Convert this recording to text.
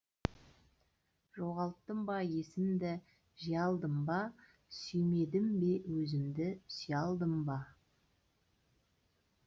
жоғалттым ба есімді жия алдым ба сүймедім бе өзімді сүйе алдым ба